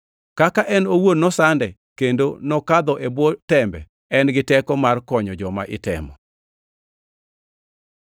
Kaka en owuon nosande kendo nokadho e bwo tembe, en gi teko mar konyo joma itemo.